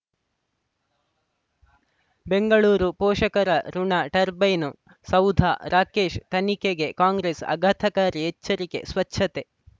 ಬೆಂಗಳೂರು ಪೋಷಕರಋಣ ಟರ್ಬೈನು ಸೌಧ ರಾಕೇಶ್ ತನಿಖೆಗೆ ಕಾಂಗ್ರೆಸ್ ಆಘಾತಕಾರಿ ಎಚ್ಚರಿಕೆ ಸ್ವಚ್ಛತೆ